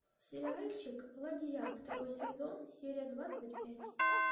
сериальчик ладья второй сезон серия двадцать пять